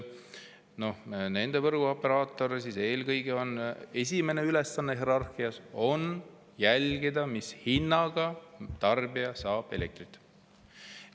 Nende võrguoperaatoril hierarhias esimesena on ülesanne eelkõige jälgida, mis hinnaga tarbija saab elektrit.